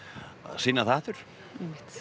sýna það aftur einmitt